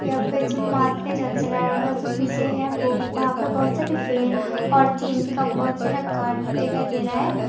यहां पे जमात नहीं जच रहा है और जो पीछे है वो वहां पे बहुत सारे फैन और टीन का बहुत सारा घर दिखाई दे रहा है।